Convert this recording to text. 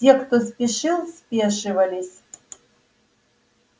те кто спешил спешивались